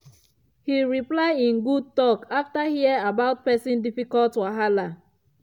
he reply in good talk after hear about person difficult wahala